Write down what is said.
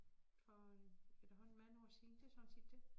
For efterhånden mange år siden det sådan set det